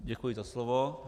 Děkuji za slovo.